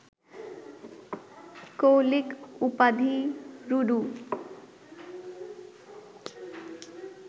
কৌলিক উপাধি বড়ু